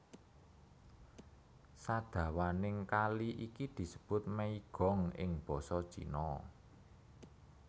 Sadawaning kali iki disebut Meigong ing basa Cina